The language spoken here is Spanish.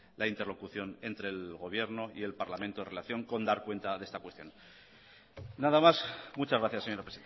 la interlocución entre el gobierno y el parlamento en relación con dar cuenta de esta cuestión nada más muchas gracias señora